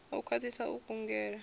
u khwathisa u kungela na